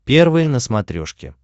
первый на смотрешке